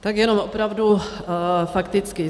Tak jenom opravdu fakticky.